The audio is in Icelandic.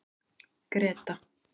Greta